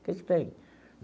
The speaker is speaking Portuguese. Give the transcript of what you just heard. O que você tem?